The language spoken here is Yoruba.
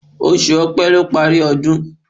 Oṣù Opẹ́ ló parí ọdún